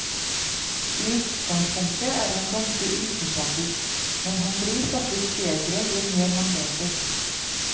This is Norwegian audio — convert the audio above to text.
I utgangspunktet er han ganske usympatisk, men han blir faktisk bedre jo mer man leser.